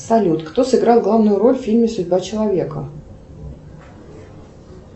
салют кто сыграл главную роль в фильме судьба человека